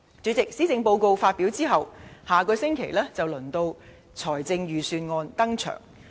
主席，施政報告發表後，下星期便輪到財政預算案登場。